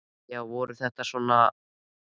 Já, voru þau svona að torvelda slökkvistörfin?